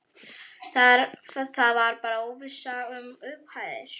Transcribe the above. Það var bara óvissa um upphæðir?